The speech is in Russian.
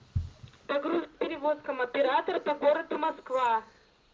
по грузоперевозкам оператора по городу москва